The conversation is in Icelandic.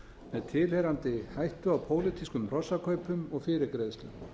með tilheyrandi hættu á pólitískum hrossakaupum og fyrirgreiðslu